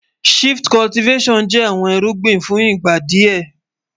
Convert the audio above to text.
Shift Cultivattion jẹ́ àwọn ìrùgbìn fún ìgbà díẹ́.